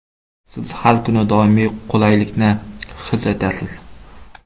Siz har kuni doimiy qulaylikni his etasiz.